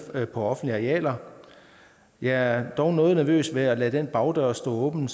på offentlige arealer jeg er dog noget nervøs ved at lade den bagdør stå åben